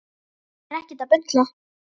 Ég er ekkert að bulla.